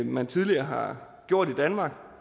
man tidligere har gjort i danmark